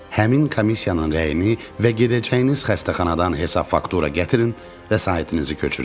Həmin komissiyanın rəyini və gedəcəyiniz xəstəxanadan hesab-faktura gətirin, vəsaitinizi köçürək.